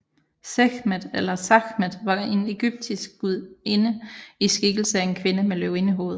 Sekhmet eller Sakhmet var en egyptisk gudinde i skikkelse af en kvinde med løvindehoved